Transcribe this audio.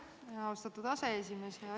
Aitäh, austatud aseesimees!